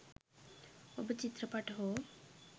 ඔබ චිත්‍රපට හෝ